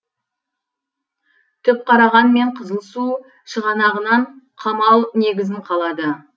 түпқараған мен қызылсу шығанағынан қамал негізін қалады